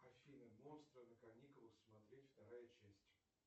афина монстры на каникулах смотреть вторая часть